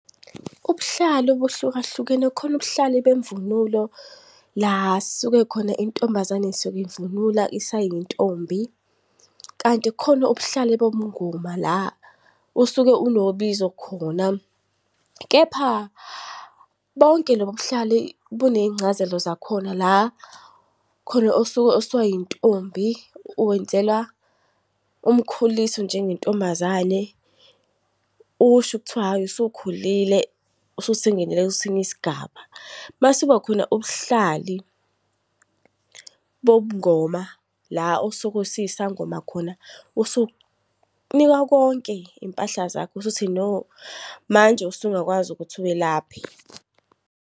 Ubuhlalu buhlukahlukene, kukhona ubuhlali bemvunulo la suke khona intombazane isuke imvunula isayintombi kanti kukhona ubuhlali bobungoma la usuke unobizo khona. Kepha bonke lobu buhlali buney'ncazelo zakhona la khona osuka osayintombi wenzelwa umkhuliso njengentombazane, usho kuthiwa hhayi usukhulile, kwesinye isigaba. Masekubakhona ubuhlali bobungoma la osuke usiyisangoma khona usunikwa konke iy'mpahla zakho usuthi no, manje usungakwazi ukuthi welaphe.